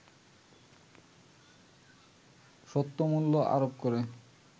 সত্যমূল্য আরোপ করে